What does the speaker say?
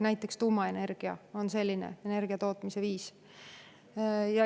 Näiteks tuumaenergia on selline energiatootmise viis.